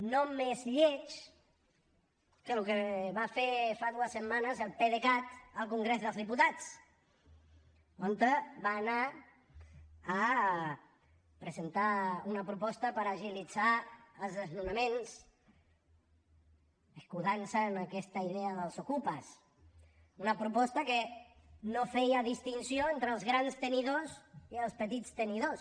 no més lleig que el que va fer fa dues setmanes el pdecat al congrés dels diputats on va anar a presentar una proposta per agilitzar els desnonaments excusant se en aquesta idea dels okupes una proposta que no feia distinció entre els grans tenidors i els petits tenidors